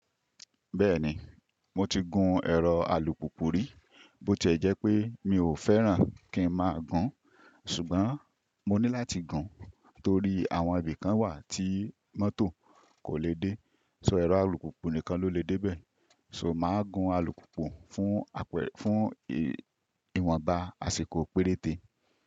Bẹ́ẹ̀ni, mo ti gun ẹ̀rọ alùpùpù rí, bó ti ẹ̀ jẹ́ pé mi ò fẹ́ràn kí ń máa gun, ṣùgbọ́n mo ní láti gun torí àwọn ibi kan wà tí mọ́tò kò lè dé, ṣo ẹ̀rọ alùpùpù nìkan ló lè dé bẹ́ẹ̀. So mà á gun alùpùpù fún àpẹ fún ìwọ̀nba àsìkò péréte.